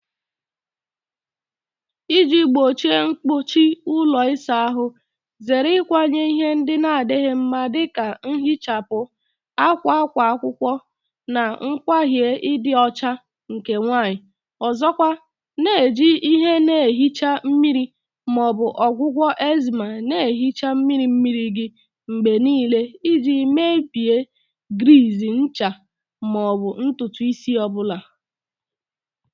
Iji gbochie mkpuchi ụlọ ịsa ahụ, zere ịkwanye ihe ndị na-adịghị mma dị ka nhichapụ, akwa akwa akwụkwọ, na ngwaahịa ịdị ọcha nke nwanyị. Ọzọkwa, na-eji ihe na-ehicha mmiri ma ọ bụ ọgwụgwọ enzyme na-ehicha mmiri mmiri gị mgbe niile iji mebie griiz, ncha, ma ọ bụ ntutu isi ọ bụla.